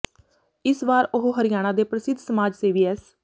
ਇਸ ਵਾਰ ਉਹ ਹਰਿਆਣਾ ਦੇ ਪ੍ਰਸਿੱਧ ਸਮਾਜ ਸੇਵੀ ਐੱਸ